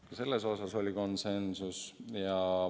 Ka selles osas oli konsensus.